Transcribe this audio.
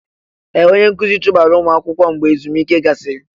Ee! Onye nkụzi chụbara ụmụ akwụkwọ mgbe ezumike gasịrị.